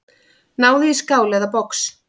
Náðu í skál eða box.